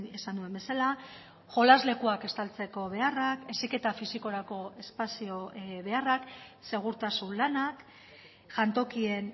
esan duen bezala jolas lekuak estaltzeko beharrak heziketa fisikorako espazio beharrak segurtasun lanak jantokien